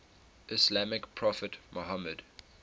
islamic prophet muhammad